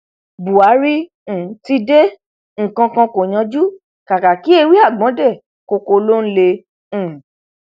buhari um ti dé nǹkan kan kó yanjú kàkà kí ewé àgbọn dé ní koko ló ń lé um